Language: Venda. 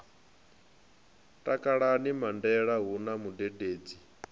takalani mandende hu na mudededzi